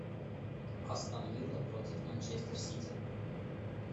астон вилла против манчестер сити